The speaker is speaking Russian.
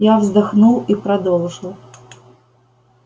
я вздохнул и продолжил